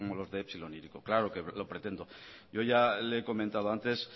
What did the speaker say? los de epsilon e hiriko claro que lo pretendo yo ya le he comentado antes